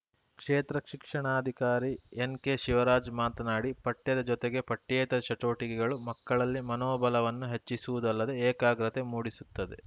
ಕ್ಷೇತ್ರ ಶಿಕ್ಷಣಾಧಿಕಾರಿ ಎನ್‌ಕೆಶಿವರಾಜ್‌ ಮಾತನಾಡಿ ಪಠ್ಯದ ಜೊತೆಗೆ ಪಠ್ಯೇತರ ಚಟುವಟಿಕೆಗಳು ಮಕ್ಕಳಲ್ಲಿ ಮನೋಬಲವನ್ನು ಹೆಚ್ಚಿಸುವುದಲ್ಲದೆ ಏಕಾಗ್ರತೆ ಮೂಡಿಸುತ್ತದೆ